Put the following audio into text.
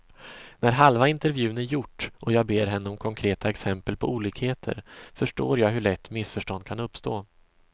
När halva intervjun är gjort och jag ber henne om konkreta exempel på olikheter, förstår jag hur lätt missförstånd kan uppstå.